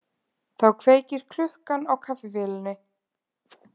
Þá kveikir klukkan á kaffivélinni